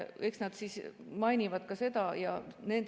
Eks nad mainivad ka seda.